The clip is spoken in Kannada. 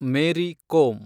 ಮೇರಿ ಕೋಮ್